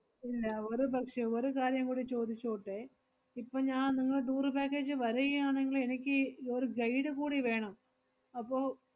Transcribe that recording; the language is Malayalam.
ഇല്ല ഒരു പക്ഷേ ഒരു കാര്യം കൂടി ചോദിച്ചോട്ടെ? ഇപ്പ ഞാ~ നിങ്ങളെ tour package വരൈയാണെങ്കില് എനിക്കീ ഒര് guide കൂടി വേണം. അപ്പൊ,